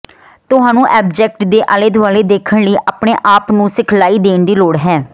ਤੁਹਾਨੂੰ ਆਬਜੈਕਟ ਦੇ ਆਲੇ ਦੁਆਲੇ ਦੇਖਣ ਲਈ ਆਪਣੇ ਆਪ ਨੂੰ ਸਿਖਲਾਈ ਦੇਣ ਦੀ ਲੋੜ ਹੈ